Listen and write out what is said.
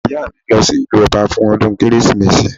Ìyá mi ń lọ sí ìlú ọba fún ọdún kérésìmesì